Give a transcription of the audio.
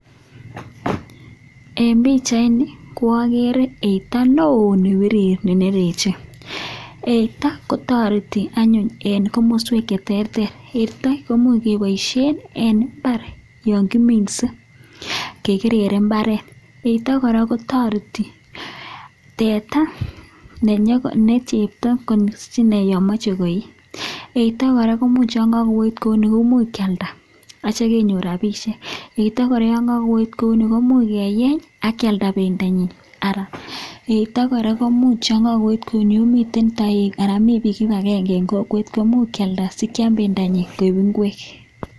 En bichait Ni koagere eito non nebirir nenereche eito kotareti anyun en kamaswek cheterter komuch kebaishen en imbar yangiminse kekerere imbaret eito koraa kotareti teta nechepto yamache koyii eito koraa komuch kakoet kouni koimuche kialda akitya kenyor rabishek ak yekakoet kouni komuch koraa keyenye akialda Benda nyin yeito koraa komuch kouwit ana mi bik kibagenge komuch kialda sikial bendo nyin koik ingwek.